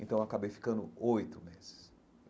Então eu acabei ficando oito meses.